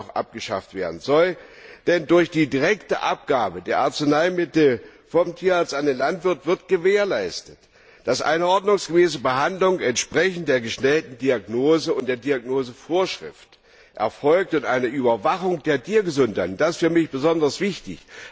auch abgeschafft werden soll, denn durch die direkte Abgabe der Arzneimittel vom Tierarzt an den Landwirt wird gewährleistet, dass eine ordnungsgemäße Behandlung entsprechend der gestellten Diagnose und der Diagnosevorschrift erfolgt und eine Überwachung der Tiergesundheit und das ist für mich besonders wichtig